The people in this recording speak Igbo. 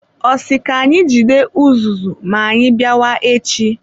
Ọ sị ka anyị jide uzuzu ma anyị bịa wa echi?